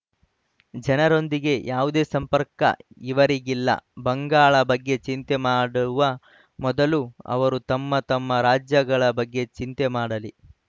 ಜನರೊಂದಿಗೆ ಯಾವುದೇ ಸಂಪರ್ಕ ಇವರಿಗಿಲ್ಲ ಬಂಗಾಳ ಬಗ್ಗೆ ಚಿಂತೆ ಮಾಡುವ ಮೊದಲು ಅವರು ತಮ್ಮ ತಮ್ಮ ರಾಜ್ಯಗಳ ಬಗ್ಗೆ ಚಿಂತೆ ಮಾಡಲಿ